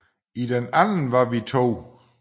I den anden var vi to